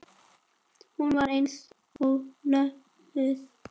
Hún var eins og lömuð.